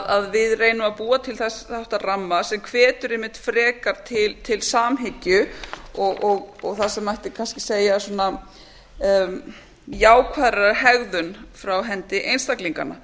að við reynum að búa til þennan ramma sem hvetur einmitt frekar til samhyggju og það sem mætti kannski segja jákvæðrar hegðunar frá hendi einstaklinganna